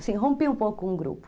Assim, rompi um pouco um grupo.